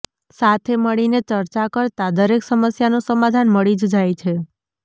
સાથે મળીને ચર્ચા કરતા દરેક સમસ્યાનું સમાધાન મળી જ જાય છે